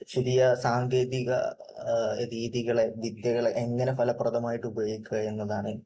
പുതിയ സാങ്കേതിക രീതികളെ, വിദ്യകളെ എങ്ങനെ ഫലപ്രദമായിട്ട് ഉപയോഗിക്കുക എന്നതാണ്